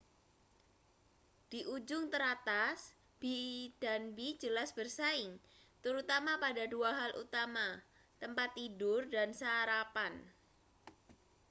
di ujung teratas b&b jelas bersaing terutama pada dua hal utama tempat tidur dan sarapan